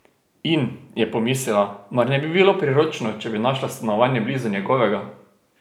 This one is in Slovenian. In, je pomislila, mar ne bi bilo priročno, če bi našla stanovanje blizu njegovega?